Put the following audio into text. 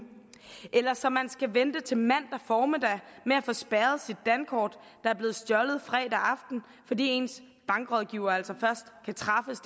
eller så man skal vente til mandag formiddag med at få spærret sit dankort der er blevet stjålet fredag aften fordi ens bankrådgiver altså først kan træffes